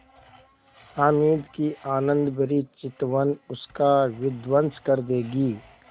हामिद की आनंदभरी चितवन उसका विध्वंस कर देगी